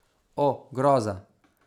O, groza.